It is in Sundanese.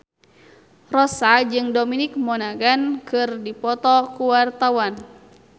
Rossa jeung Dominic Monaghan keur dipoto ku wartawan